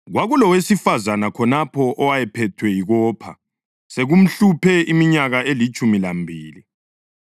Kwakulowesifazane khonapho owayephethwe yikopha sekumhluphe iminyaka elitshumi lambili.